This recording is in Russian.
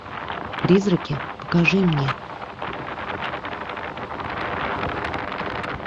призраки покажи мне